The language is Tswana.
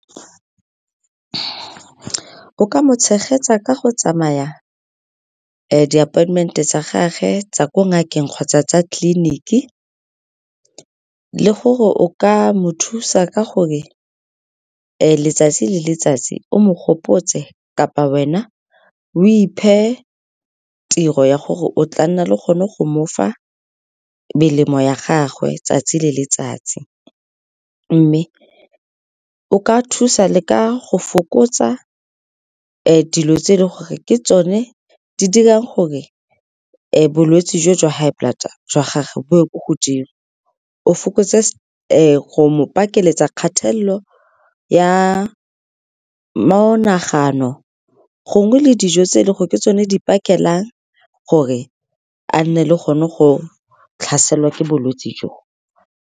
O ka mo tshegetsa ka go tsamaya di-appointment-e tsa gagwe tsa ko ngakeng kgotsa tsa tleliniki, le gore o ka mo thusa ka gore letsatsi le letsatsi o mo gopotse kapa wena o iphe tiro ya gore o tla nna le gone go mofa melemo ya gagwe tsatsi le letsatsi. Mme o ka thusa le ka go fokotsa dilo tse e leng gore ke tsone di dirang gore bolwetse jo jwa high blood jwa gage bo ye ko godimo, o fokotse go mo pakeletsa kgathelelo ya monagano gongwe le dijo tse e leng go ke tsone di pakelang gore a nne le gone go tlhaselwa ke bolwetse jo.